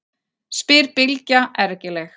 spyr Bylgja ergileg.